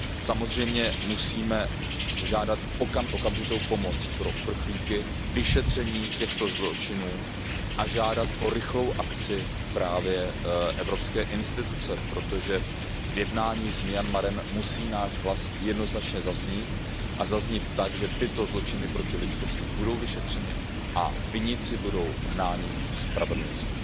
Samozřejmě musíme žádat okamžitou pomoc pro uprchlíky, vyšetření těchto zločinů a žádat o rychlou akci právě evropské instituce, protože v jednání s Myanmarem musí náš hlas jednoznačně zaznít a zaznít tak, že tyto zločiny proti lidskosti budou vyšetřeny a viníci budou hnáni ke spravedlnosti.